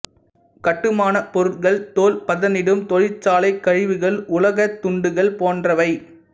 கட்டுமான பொருட்கள் தோல் பதனிடும் தொழிற்சாலைக் கழிவுகள் உலோகத்துண்டுகள் போன்றவை